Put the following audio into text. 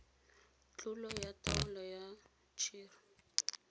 tlolo ya taolo ya tshir